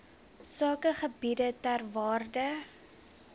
sakegebiede ter waarde